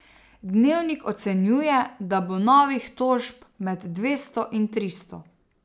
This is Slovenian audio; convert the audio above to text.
Dnevnik ocenjuje, da bo novih tožb med dvesto in tristo.